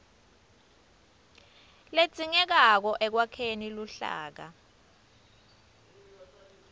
ledzingekako ekwakheni luhlaka